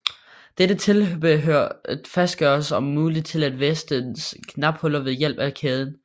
Dette tilbehør fastgøres om muligt til et af vestens knaphuller ved hjælp af en kæde